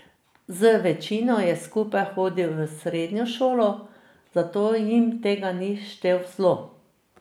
Z večino je skupaj hodil v srednjo šolo, zato jim tega ni štel v zlo.